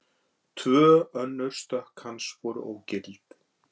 Tvö önnur stökk hans voru ógild